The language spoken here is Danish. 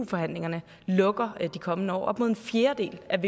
forhandlingerne lukker de kommende år op mod en fjerdedel af